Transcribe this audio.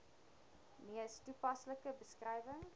mees toepaslike beskrywing